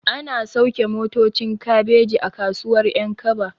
Ana sauke motocin kabeji a kasuwar ƴankaba